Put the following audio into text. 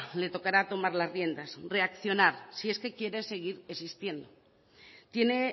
le tocará tomar las riendas reaccionar si es que quiere seguir existiendo tiene